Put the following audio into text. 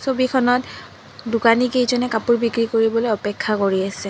ছবিখনত দোকানী কেইজনে কাপোৰ বিক্ৰী কৰিবলৈ অপেক্ষা কৰি আছে।